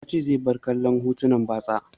Ya ce zai bar kallon hotunan batsa.